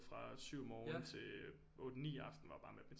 Fra 7 morgen til 8 9 aften var bare matematik